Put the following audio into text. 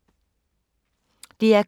DR K